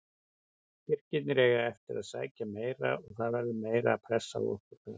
Tyrkirnir eiga eftir að sækja meira og það verður meiri pressa á okkur þar.